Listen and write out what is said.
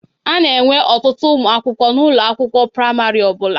A na-enwe ọtụtụ umụ akwụkwọ n'ụlọ akwụkwọ praịmarị ọ bụla.